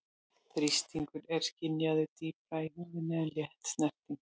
Þrýstingur er skynjaður dýpra í húðinni en létt snerting.